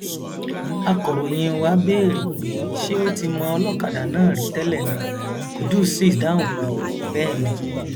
akọròyìn wa béèrè pé ṣé ó ti mọ ọlọkadà náà rí tẹlẹ ni qudus sì dáhùn pé bẹẹ ni